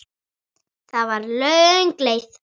Það var löng leið.